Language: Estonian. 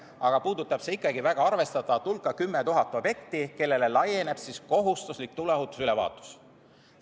Aga puudutab see ikkagi väga arvestatavat hulka: 10 000 objekti, millele laieneb kohustuslik tuleohutusülevaatus.